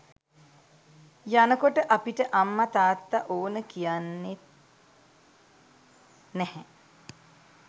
යනකොට අපිට අම්ම තාත්තා ඕන කියන්නෙත් නැහැ.